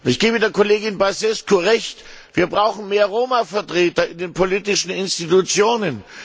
Ich gebe der Kollegin Băsescu recht Wir brauchen mehr Roma Vertreter in den politischen Institutionen.